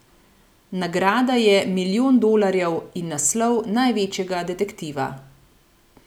Nagrada je milijon dolarjev in naslov največjega detektiva.